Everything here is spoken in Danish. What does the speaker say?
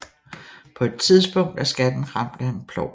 På et tidspunkt er skatten ramt af en plov